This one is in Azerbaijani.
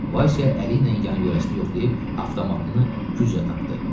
Vasya əli ilə yan yöyəsini yoxlayıb avtomatını güclə tapdı.